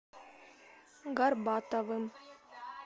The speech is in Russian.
горбатовым